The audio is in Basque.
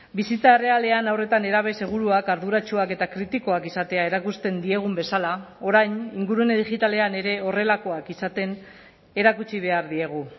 bizitza errealean haur eta nerabe seguruak arduratsuak eta kritikoak izatea erakusten diegun bezala orain ingurune digitalean ere horrelakoak izaten erakutsi behar diegu